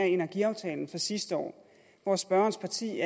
energiaftalen fra sidste år hvor spørgerens parti